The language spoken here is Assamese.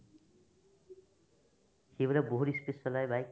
সিহঁতে বহুত ই speed চলাই bike